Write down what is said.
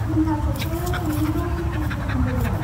जोंहा सप्तायाव खननैल' पि.टि. सेसनफोर दं।